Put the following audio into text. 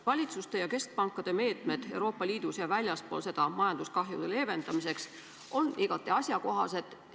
Valitsuste ja keskpankade meetmed Euroopa Liidus ja väljaspool seda majanduskahjude leevendamiseks on igati asjakohased.